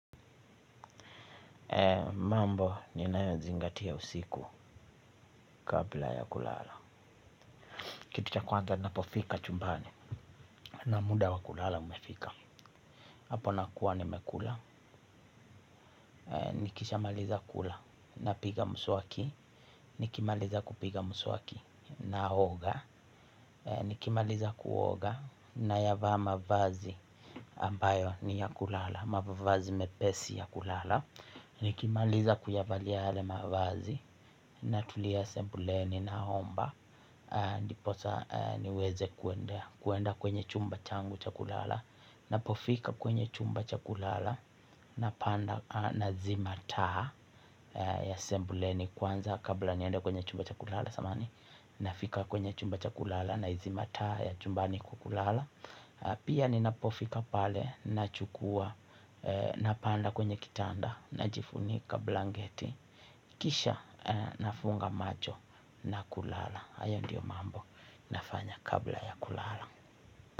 Mambo ninayoyazingatia usiku kabla ya kulala, kitu cha kwanza ninapofika chumbani na muda wa kulala umefika. Hapo nakua nimekula. Nikishamaliza kula napiga mswaki. Nikimaliza kupiga mswaki Naoga. Nikimaliza kuoga nayavaa mavazi za kuoga ambayo ni ya kulala. Mavazi mepesi ya kulala. Nikimaliza kuyavalia yale mavazi natulia sebuleni naomba. Ndiposa niweze kuenda kuenda kwenye chumba changu cha kulala. Ninapofika kwenye chumba cha kulala napanda nazima taa ya sembuleni. Kwanza kabla niende kwenye chumba cha kulala samahani nafika kwenye chumba cha kulala naizima taa ya chumbani kukulala. Pia ninapofika pale nachukua napanda kwenye kitanda. Najifunika blanketi. Kisha nafunga macho na kulala. Hayo ndiyo mambo nafanya kabla ya kulala.